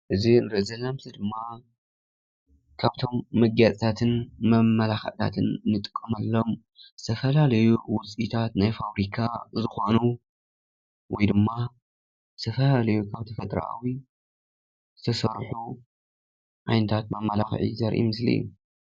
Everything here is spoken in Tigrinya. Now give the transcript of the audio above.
እዚ ንሪኦ ዘለና ምስሊ ድማ ካብቶም መጋየፅታትን መመላክዕታትን ንጥቀመሎም ዝተፈላለዩ ውፅኢታት ናይ ፋብሪካ ዝኾኑ ወይ ድማ ዝተፈላለዩ ካብ ተፈጥሮኣዊ ዝተሰርሑ ዓይነታት መመላክዒ ዘርኢ ምስሊ እዩ፡፡